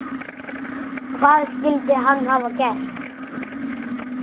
Hvað skyldi hann hafa gert?